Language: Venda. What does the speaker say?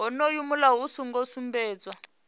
wonoyo mulayo u songo sumbedzwa